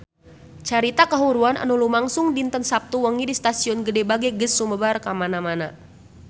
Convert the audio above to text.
Carita kahuruan anu lumangsung dinten Saptu wengi di Stasiun Gede Bage geus sumebar kamana-mana